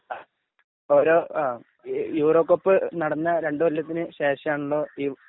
ആ അപ്പൊ ആ ഓരോ ഈ യൂറോകപ്പ് നടന്ന രണ്ടു കൊല്ലത്തിന് ശേഷം ആണല്ലോ ഈ